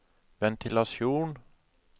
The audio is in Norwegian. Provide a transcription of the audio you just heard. ventilasjon